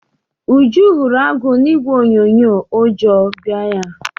Uju hụrụ agụ na ìgwè onyonyo ụjọ bịa ya.